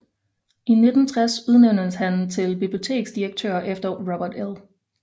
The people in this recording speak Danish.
I 1960 udnævntes han til biblioteksdirektør efter Robert L